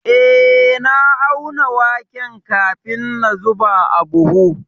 Eh, na auna waken kafin na zuba a buhu.